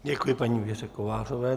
Děkuji paní Věře Kovářové.